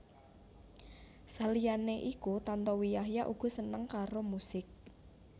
Saliyané iku Tantowi Yahya uga seneng karo musik